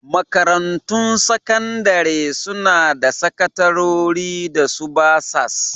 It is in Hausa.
Makarantun sakandare suna da sakatarori da su basas